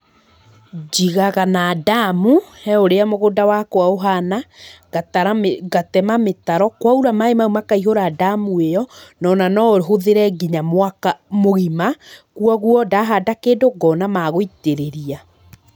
Njigaga na ndamu, he ũrĩa mũgũnda wakwa ũhana, ngatara mĩ ngatema mĩtaro, kwaura maĩ mau makaihũra ndamu ĩyo, nona noũhũthĩre nginya mwaka mũgima , kwoguo ndahanda kĩndũ, ngona ma gũitĩrĩria.